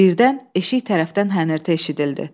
Birdən eşik tərəfdən hənirtə eşidildi.